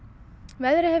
veðrið